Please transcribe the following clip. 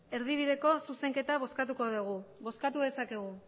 erdibideko zuzenketa bozkatuko dugu bozkatu dezakegu